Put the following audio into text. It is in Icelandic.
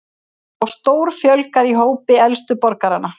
Þá stórfjölgar í hópi elstu borgaranna